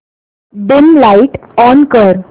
dim light on कर